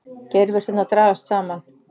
Geirvörturnar dragast saman.